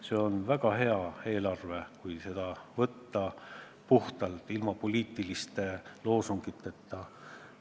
See on väga hea eelarve, kui seda võtta puhtalt, ilma poliitiliste loosungiteta.